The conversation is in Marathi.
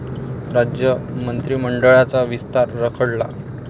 राज्य मंत्रिमंडळाचा विस्तार रखडला?